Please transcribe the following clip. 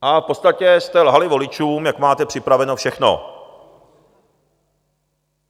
A v podstatě jste lhali voličům, jak máte připraveno všechno.